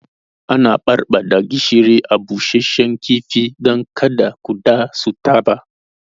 Ana barbaɗa gishiri a busashe kifi dan kada kuɗa su taɓa